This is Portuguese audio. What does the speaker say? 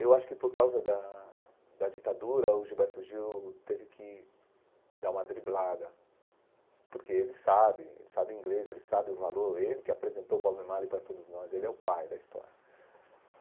Eu acho que, por causa da da ditadura, o Gilberto Gil teve que dar uma driblada, porque ele sabe, ele sabe inglês, ele sabe o valor, ele que apresentou o Bob Marley para todos nós, ele é o pai da história.